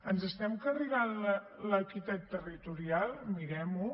ens estem carregant l’equitat territorial mirem ho